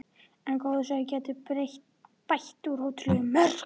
En góður svefn getur bætt úr ótrúlega mörgu.